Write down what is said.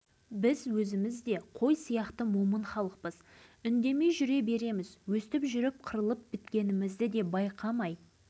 ал қырық жылдан астам уақыттан бері ядролық сынақтың астында отырған біздер жөнінде бір ауыз сөз айтылмағаны өкінішті-ақ